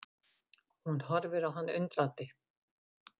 Hún horfir á hann undrandi.